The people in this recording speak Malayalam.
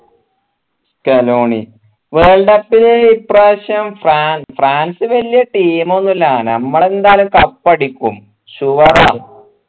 കെലോണി world cup ൽ ഇപ്രാവശ്യം ഫ്രാ ഫ്രാൻസ് വലിയ team ന്നുല്ല നമ്മൾ എന്തായാലും cup അടിക്കും sure ആ